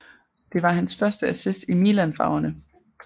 Det var hans første assist i Milan farverne